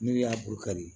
N'i y'a borokari